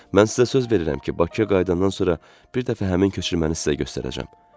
Mən sizə söz verirəm ki, Bakıya qayıdandan sonra bir dəfə həmin köçürməni sizə göstərəcəm.